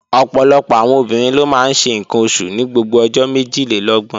Ọ̀pọ̀lọpọ̀ àwọn obìnrin ló máa ń ṣe ǹkan oṣù ní gbogbo ọjọ́ méjìlélọ́gbọ̀n